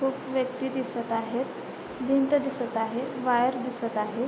खूप व्यक्ति दिसत आहेत भिंत दिसत आहे वायर दिसत आहे.